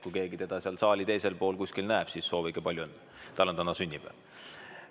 Kui keegi teda seal teisel pool saali kuskil näeb, siis soovige talle palju õnne – tal on täna sünnipäev.